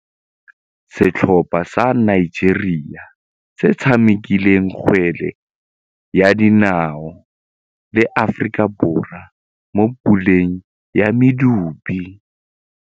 Setlhopha sa Nigeria se tshamekile kgwele ya dinaô le Aforika Borwa mo puleng ya medupe.